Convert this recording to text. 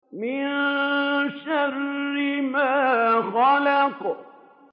مِن شَرِّ مَا خَلَقَ